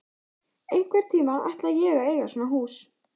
Einhvern tíma ætla ég að eiga svona hús.